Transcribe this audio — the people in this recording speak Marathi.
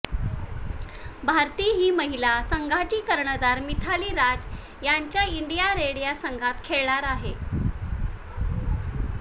भारती ही महिला संघाची कर्णधार मिथाली राज यांच्या इंडिया रेड या संघात खेळणार आहे